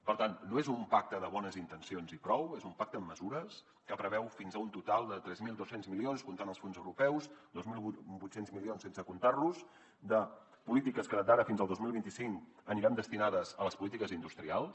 per tant no és un pacte de bones intencions i prou és un pacte amb mesures que preveu fins a un total de tres mil dos cents milions comptant els fons europeus dos mil vuit cents milions sense comptar los polítiques que d’ara fins al dos mil vint cinc aniran destinades a les polítiques industrials